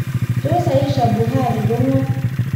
Tos Aisha Buhari ko ng'o?